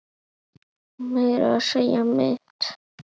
Meira að segja mitt